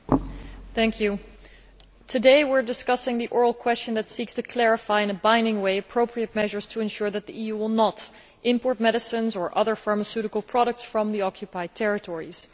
Mr President, today we are discussing the oral question that seeks to clarify in a binding way appropriate measures to ensure that the EU will not import medicines or other pharmaceutical products from the Occupied Territories.